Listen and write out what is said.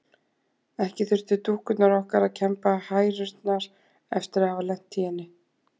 Ekki þurftu dúkkurnar okkar að kemba hærurnar eftir að hafa lent í henni.